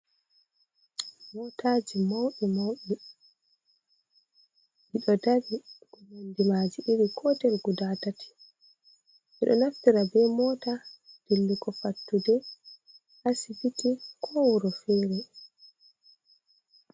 Motaji mauɗi mauɗi, ɓeɗo dari nonde maji iri kotel guda tati, ɓeɗo naftira be mota dillugo fattude, asibiti, ko wuro fere.